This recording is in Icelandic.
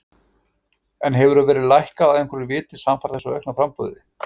En hefur verðið lækkað af einhverju viti samfara þessu aukna framboði?